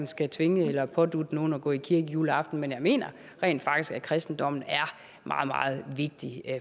skal tvinge eller pådutte nogen at gå i kirke juleaften men jeg mener rent faktisk at kristendommen er meget meget vigtig